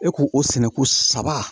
E ko o sɛnɛ ko saba